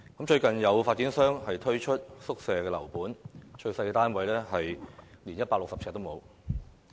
最近有發展商推出宿舍樓盤，最小的單位面積不足160平方呎。